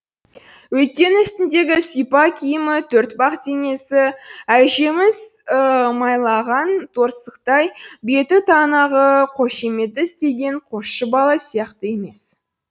өйткені үстіндегі сыпа киімі төртбақ денесі әжімсіз майлаған торсықтай беті жаңағы қошаметті істеген қосшы бала сияқты емес